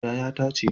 Yaya ta ce